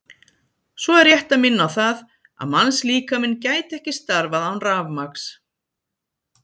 Svo er rétt að minna á það að mannslíkaminn gæti ekki starfað án rafmagns.